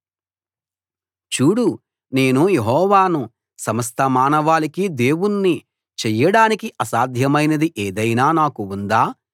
చూడు నేను యెహోవాను సమస్త మానవాళికి దేవుణ్ణి చెయ్యడానికి అసాధ్యమైనది ఏదైనా నాకు ఉందా